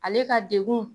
Ale ka degun